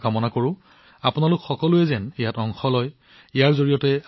মই বিচাৰো যে আপোনালোক সকলোৱে ইয়াত অংশগ্ৰহণ কৰক